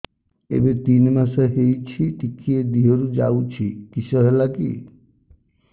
ଏବେ ତିନ୍ ମାସ ହେଇଛି ଟିକିଏ ଦିହରୁ ଯାଉଛି କିଶ ହେଲାକି